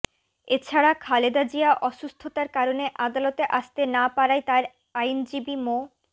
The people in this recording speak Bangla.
এছাড়া খালেদা জিয়া অসুস্থতার কারণে আদালতে আসতে না পারায় তার আইনজীবী মো